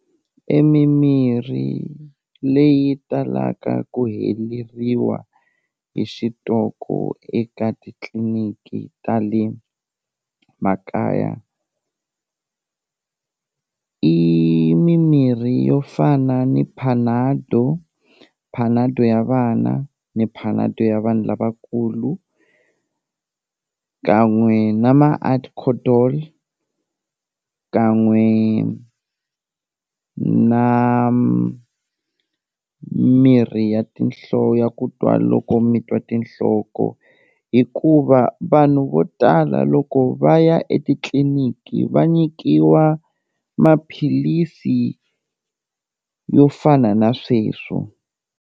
E mimirhi leyi talaka ku heleriwa hi xitoko eka titliniki ta le makaya, i mimirhi yo fana ni panado, panado ya vana, ni panado ya vanhu lavakulu kan'we na ma ADCO-DOL, kan'we na mirhi ya ya ku twa loko mi twa tinhloko hikuva vanhu vo tala loko va ya etitliniki, va nyikiwa maphilisi yo fana na sweswo.